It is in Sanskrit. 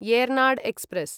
एर्नाड् एक्स्प्रेस्